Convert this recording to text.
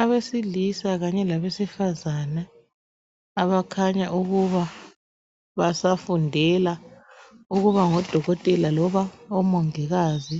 Abesilisa kanye labesifazane abakhanya ukuba basafundela ukubangodokotela loba omongikazi.